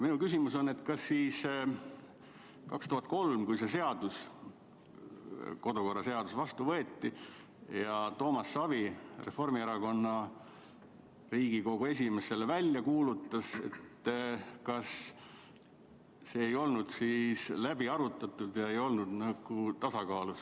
Minu küsimus on, et kas siis 2003. aastal, kui kodu- ja töökorra seadus vastu võeti ning Toomas Savi Reformierakonnast, Riigikogu esimees, selle välja kuulutas, ei olnud see teema läbi arutatud ja seadus ei olnud tasakaalus.